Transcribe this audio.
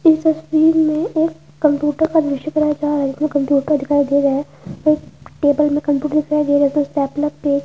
इस तस्वीर में एक कंप्यूटर का दृशय करया जा रहा हैइसमें कंप्यूटर दिखाई दे रहा है और टेबल में कंप्यूटर दिखाई दे रहा है और स्टेपलर पेज --